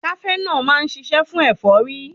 Kafenọ́ọ̀ má ń ṣiṣẹ́ fún ẹ̀fọ́rí.